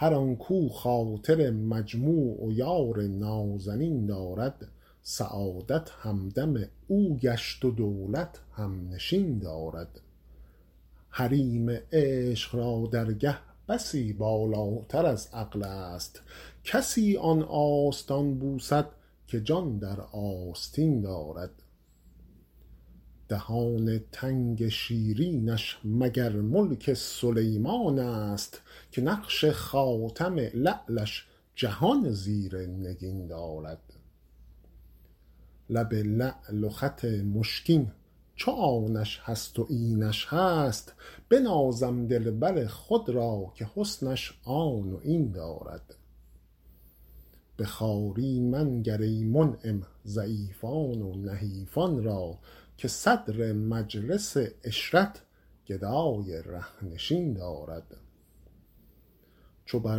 هر آن کاو خاطر مجموع و یار نازنین دارد سعادت همدم او گشت و دولت هم نشین دارد حریم عشق را درگه بسی بالاتر از عقل است کسی آن آستان بوسد که جان در آستین دارد دهان تنگ شیرینش مگر ملک سلیمان است که نقش خاتم لعلش جهان زیر نگین دارد لب لعل و خط مشکین چو آنش هست و اینش هست بنازم دلبر خود را که حسنش آن و این دارد به خواری منگر ای منعم ضعیفان و نحیفان را که صدر مجلس عشرت گدای ره نشین دارد چو بر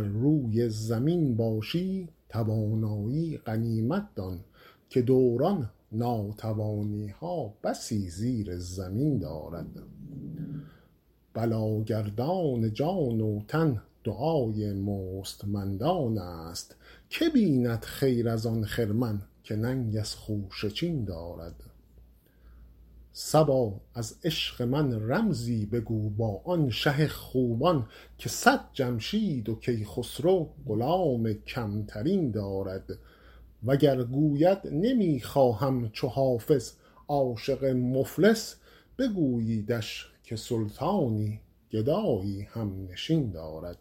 روی زمین باشی توانایی غنیمت دان که دوران ناتوانی ها بسی زیر زمین دارد بلاگردان جان و تن دعای مستمندان است که بیند خیر از آن خرمن که ننگ از خوشه چین دارد صبا از عشق من رمزی بگو با آن شه خوبان که صد جمشید و کیخسرو غلام کم ترین دارد وگر گوید نمی خواهم چو حافظ عاشق مفلس بگوییدش که سلطانی گدایی هم نشین دارد